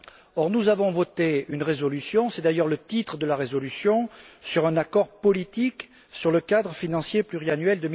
Or, nous avons voté une résolution c'est d'ailleurs le titre de la résolution sur un accord politique sur le cadre financier pluriannuel